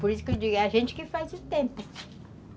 Por isso que eu digo, é a gente que faz o tempo.